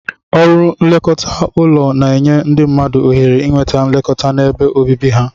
Ọrụ nlekọta ụlọ na-enye ndị mmadụ ohere inweta nlekọta n'ebe obibi ha.